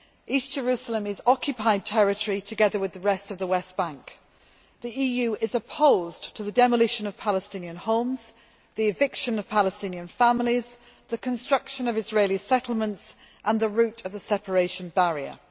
East Jerusalem is occupied territory, together with the rest of the West Bank. The EU is opposed to the demolition of Palestinian homes, the eviction of Palestinian families, the construction of Israeli settlements and the route of the separation barrier'.